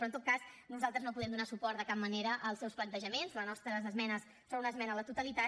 però en tot cas nosaltres no podem donar suport de cap manera als seus plantejaments les nostres esmenes són una esmena a la totalitat